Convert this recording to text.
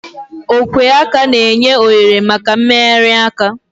Ogwe aka na-enye ohere maka mmegharị aka.